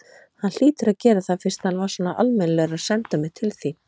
Hann hlýtur að gera það fyrst hann var svona almennilegur að senda mig til þín.